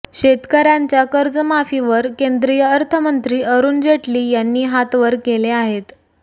शेतकऱ्यांच्या कर्जमाफीवर केंद्रीय अर्थमंत्री अरूण जेटली यांनी हात वर केले आहेत